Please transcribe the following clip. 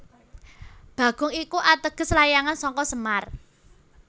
Bagong iku ateges layangan saka semar